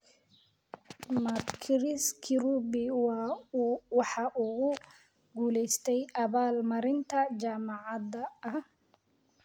ma chris kirubi waxa uu ku guulaystay abaal marinta jaamacada a